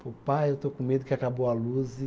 Pô, pai, eu estou com medo que acabou a luz e.